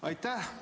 Aitäh!